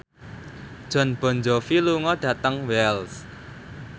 Jon Bon Jovi lunga dhateng Wells